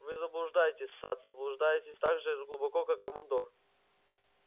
вы заблуждаетесь сатт заблуждаетесь так же глубоко как и командор